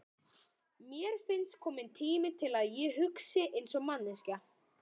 Mér finnst kominn tími til að ég hugsi einsog manneskja.